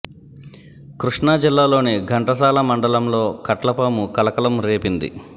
కృష్ణా జిల్లాలోని ఘంటసాల మండలంలో కట్ల పాము కలకలం రేపింది